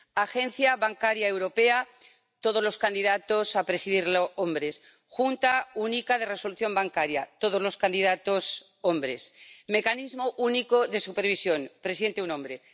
Autoridad Bancaria Europea todos los candidatos a presidirlo hombres. Junta Única de Resolución todos los candidatos hombres. Mecanismo Único de Supervisión presidente, un hombre.